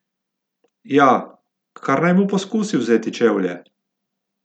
Ja, kar naj mu poskusi vzeti čevlje!